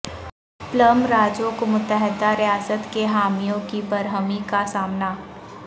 plum Raju کو متحدہ ریاست کے حامیوں کی برہمی کا سامنا